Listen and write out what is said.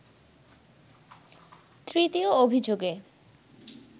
তৃতীয় অভিযোগে